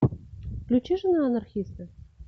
включи жена анархиста